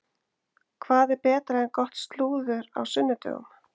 Hvað er betra en gott slúður á sunnudögum?